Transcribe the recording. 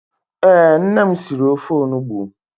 Ee, nne m siri ofe onugbu.